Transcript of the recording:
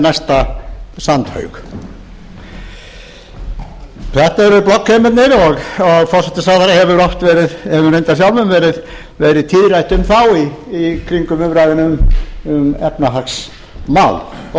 næsta sandhaug þetta eru bloggheimarnir og forsætisráðherra hefur reyndar sjálfur verið tíðrætt um þá í slíkum umræðum um efnahagsmál og